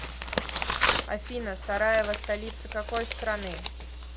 афина сараево столица какой страны